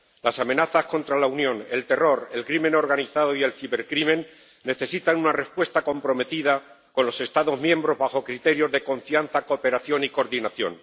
Las amenazas contra la Unión, el terror, la delincuencia organizada y la ciberdelincuencia necesitan una respuesta comprometida con los Estados miembros, con arreglo a criterios de confianza, cooperación y coordinación.